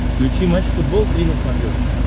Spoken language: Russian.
включи матч футбол три на смотрешке